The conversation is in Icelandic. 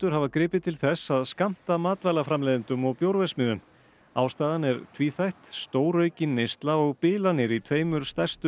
hafa gripið til þess að skammta matvælaframleiðendum og bjórverksmiðjum ástæðan er tvíþætt stóraukin neysla og bilanir í tveimur stærstu